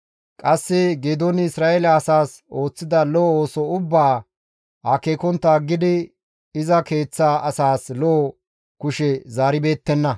Qasse Geedooni Isra7eele asaas ooththida lo7o ooso ubbaa akeekontta aggidi iza keeththa asaas lo7o kushe zaaribeettenna.